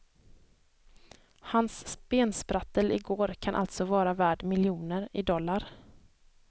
Hans bensprattel i går kan alltså vara värd miljoner, i dollar.